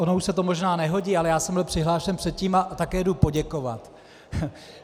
Ono už se to možná nehodí, ale já jsem byl přihlášen předtím a také jdu poděkovat.